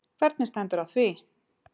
Hvernig stendur á því